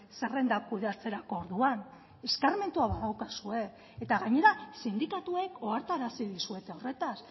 zerrendak kudeatzerako orduan eskarmentua badaukazue eta gainera sindikatuek ohartarazi dizuete horretaz